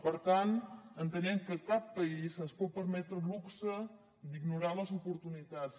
per tant entenem que cap país es pot permetre el luxe d’ignorar les oportunitats